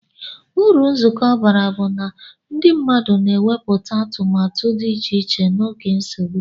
Uru nzukọta bara bu na ndi mmadu na eweputa atumatu di iche iche na oge nsogbu.